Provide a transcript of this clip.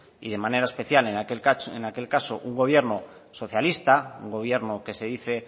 y de manera especial en aquel caso un gobierno socialista un gobierno que se dice